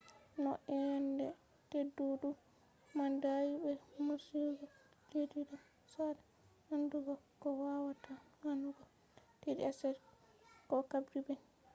no eyende teddudum man dayi be morsugo leddi do sada andugo ko wawata wannugo united states ko caribbean